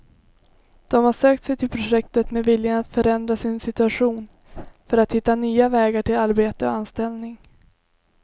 De har sökt sig till projektet med viljan att förändra sin situation för att hitta nya vägar till arbete och anställning.